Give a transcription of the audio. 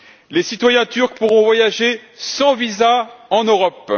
Les citoyens turcs pourront voyager sans visa en Europe.